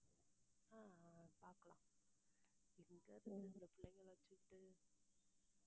ஆஹ் பாக்கலாம் எங்க இந்த பிள்ளைங்களை வெச்சுட்டு